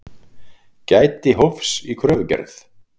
Gæti hófs í kröfugerð